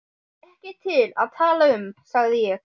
Ekki til að tala um, sagði ég.